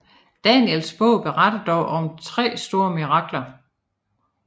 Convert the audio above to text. Daniels bog beretter dog om tre store mirakler